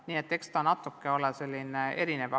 Nii et eks ta natuke selline erinev ole.